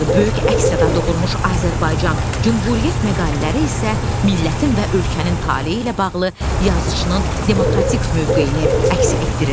Böyük əks-səda doğurmuş "Azərbaycan" "Cümhuriyyət" məqalələri isə millətin və ölkənin taleyi ilə bağlı yazıçının demokratik mövqeyini əks etdirirdi.